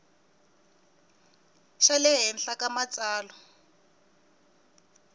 xa le henhla ka matsalwa